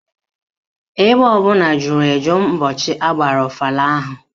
Ebe ọbụla juru eju ụbọchị agbara ọfala ahụ